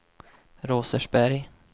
Rosersberg